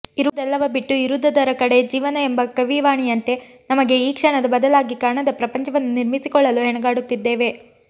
ಇರುವುದೆಲ್ಲವ ಬಿಟ್ಟು ಇರದುದರ ಕಡೆ ಜೀವನ ಎಂಬ ಕವಿವಾಣಿಯಂತೆ ನಮಗೆ ಈ ಕ್ಷಣದ ಬದಲಾಗಿ ಕಾಣದ ಪ್ರಪಂಚವನ್ನು ನಿರ್ಮಿಸಿಕೊಳ್ಳಲು ಹೆಣಗಾಡುತ್ತಿದ್ದೇವೆ